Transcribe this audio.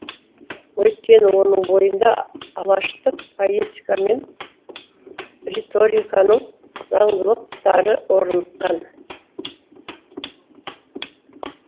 өйткені оның бойында алаштық поэтика мен риториканың заңдылықтары орныққан